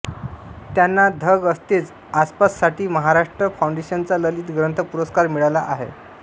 त्यांना धग असतेच आसपास साठी महाराष्ट्र फाउंडेशनचा ललित ग्रंथ पुरस्कार मिळाला आहे